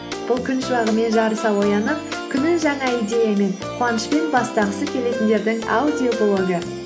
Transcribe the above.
бұл күн шуағымен жарыса оянып күнін жаңа идеямен қуанышпен бастағысы келетіндердің аудиоблогы